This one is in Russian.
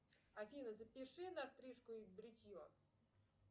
афина запиши на стрижку и бритье